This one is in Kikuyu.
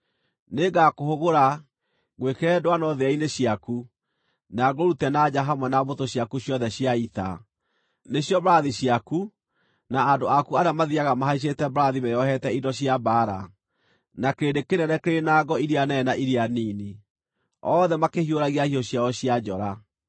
Nĩngakũhũgũra, ngwĩkĩre ndwano thĩa-inĩ ciaku, na ngũrute na nja hamwe na mbũtũ ciaku ciothe cia ita: nĩcio mbarathi ciaku, na andũ aku arĩa mathiiaga mahaicĩte mbarathi meeohete indo cia mbaara, na kĩrĩndĩ kĩnene kĩrĩ na ngo iria nene na iria nini, othe makĩhiũragia hiũ ciao cia njora.